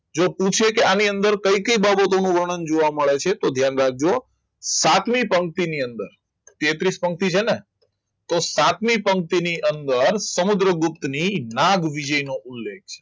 જે પૂછે કે આની અંદર કઈ કઈ બાબતોનો વર્ણન જોવા મળે છે તો ધ્યાન રાખજો સાથેની પંક્તિ સાતમી પંક્તિની અંદર તેત્રિસ પંક્તિઓ છે ને તો સાતમી પંક્તિની અંદર સમુદ્રગુપ્ત ની નાગ વિજય નું ઉલ્લેખ